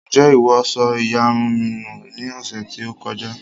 Ǹjẹ́ ìwọ sọ ìyarun mi nù ní ọ̀sẹ̀ tí ó kọjá